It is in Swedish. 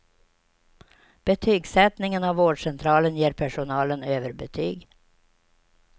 Betygsättningen av vårdcentralen ger personalen överbetyg.